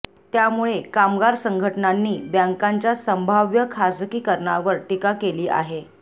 त्यामुळे कामगार संघटनांनी बँकांच्या संभाव्य खासगीकरणावर टीका केली आहेे